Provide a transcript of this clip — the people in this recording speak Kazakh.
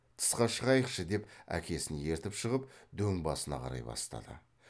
тысқа шығайықшы деп әкесін ертіп шығып дөң басына қарай бастады